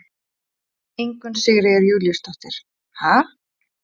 Ingunn Sigríður Júlíusdóttir: Ha?